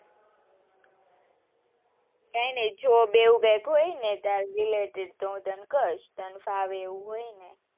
કઈ ની હું બેઠી હોવ ને ત્યાં તો ખસ તને ફાવે એવું હોય ને,